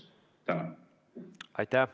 Aitäh!